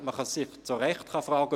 Man kann sich zu Recht fragen: